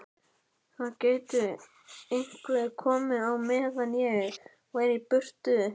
Það gæti einhver komið á meðan ég væri í burtu